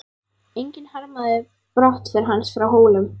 Enginn harmaði brottför hans frá Hólum.